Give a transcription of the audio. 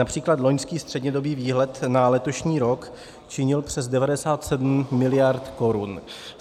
Například loňský střednědobý výhled na letošní rok činil přes 97 mld. korun.